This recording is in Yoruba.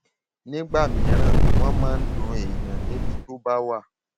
nígbà mìíràn wọn máa ń dun èèyàn níbi tó bá wà